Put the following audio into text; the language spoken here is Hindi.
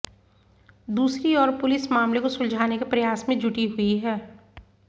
दूसरी ओर पुलिस मामले को सुलझाने के प्रयास में जुटी हुई है